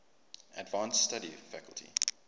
advanced study faculty